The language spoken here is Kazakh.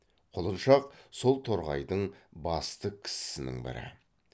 құлыншақ сол торғайдың басты кісісінің бірі